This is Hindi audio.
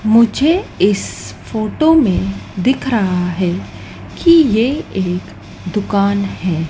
मुझे इस फोटो में दिख रहा है कि ये एक दुकान है।